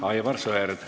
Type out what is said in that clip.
Aivar Sõerd, palun!